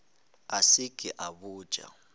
a se ke a botša